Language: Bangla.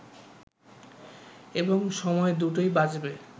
এবং সময় দুটোই বাঁচবে